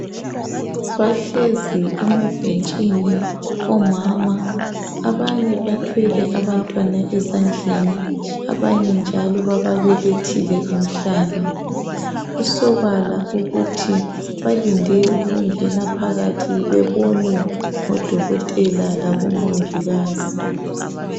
Bahlezi emabhentshini omama abanye bathwele abantwana ezandleni abanye njalo bababelethile emhlane kusobala ukuthi balinde ukungena phakathi bebonwe ngodokotela labomongikazi.